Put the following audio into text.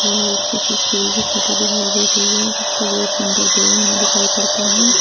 ये एक किसी स्कूल की फोटो दिखाई दे रही है जिसका गेट नंबर दो में दिखाई पड़ता है।